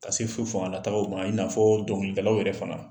Ka se fo fangalatagaw ma i n'a fɔ dɔnkilidalaw yɛrɛ fana